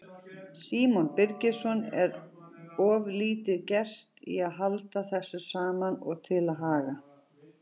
Símon Birgisson: Er of lítið gert í að halda þessu saman og til haga?